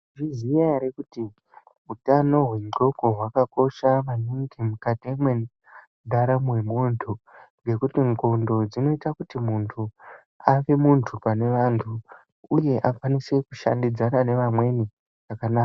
Mai zviziya ere kuti utano hwe ndxoko hwaka kosha maningi mukati mwe ndaramo ye muntu ngekuti ndxondo dzinoita kuti muntu ave muntu pane vantu uye akwanise ku shandidzana ne vamweni zvakanaka.